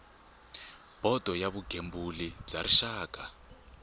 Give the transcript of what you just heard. bodo ya vugembuli bya rixaka